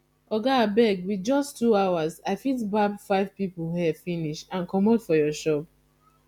oga abeg with just two hours i fit barb five people hair finish and comot for your shop